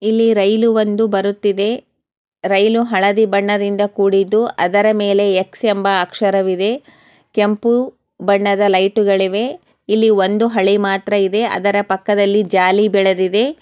ಇಲ್ಲಿ ರೈಲು ಒಂದು ಬರುತ್ತಿದೆ ರೈಲು ಹಳದಿ ಬಣ್ಣದಿಂದ ಕೂಡಿದು ಅದರ ಮೇಲೆ ಎಕ್ಸ್ ಎಂಬಾ ಅಕ್ಷರಾ ಇದೆ. ಕೆಂಪು ಬಣ್ಣದ ಲೈಟು ಗಳಿವೆ . ಇಲ್ಲಿ ಒಂದು ಹಳಿ ಮಾತ್ರ ಇದೆ ಅದರ ಪಕ್ಕದಲ್ಲಿ ಜಾಲಿ ಬೆಳೆದಿವೆ.